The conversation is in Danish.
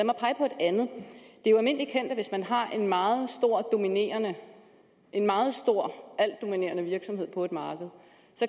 er jo almindeligt kendt at hvis man har en meget en meget stor altdominerende virksomhed på et marked